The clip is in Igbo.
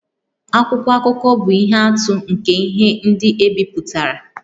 Akwụkwọ akụkọ bụ ihe atụ nke ihe ndị e bipụtara